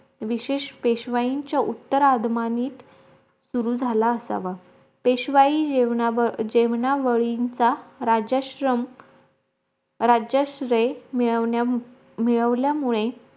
विशेष पेशवाईच्या उत्तर आदमाईत सुरु झाला असावा पेशवाईत जेवण्या जेवण्यावळींचा राज्याश्रम राज्याश्रेय मिळवन्या मिळवल्यामुळे